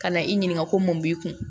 Ka na i ɲininka ko mun b'i kun